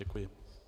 Děkuji.